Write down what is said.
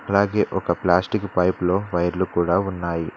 అలాగే ఒక plastic pipe లో వైర్లు కూడా ఉన్నాయి.